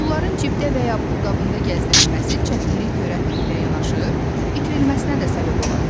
Pulların cibdə və ya pul qabında gəzdirilməsi çətinlik törətməklə yanaşı, itirilməsinə də səbəb ola bilər.